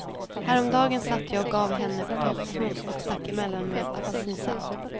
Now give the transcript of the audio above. Häromdagen satt jag och gav henne potatismos och stack emellan med apelsinsaft.